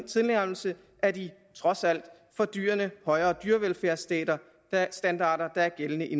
tilnærmelse af de trods alt for dyrene højere dyrevelfærdsstandarder der er gældende i